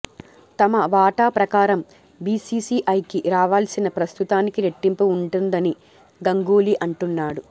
తమ వాటా ప్రకారం బీసీసీఐకి రావాల్సింది ప్రస్తుతానికి రెట్టింపు ఉంటుందని గంగూలీ అంటున్నాడు